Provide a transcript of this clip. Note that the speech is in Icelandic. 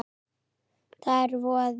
Það er voði